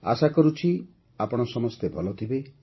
ଆଶା କରୁଛି ଆପଣ ସମସ୍ତେ ଭଲ ଥିବେ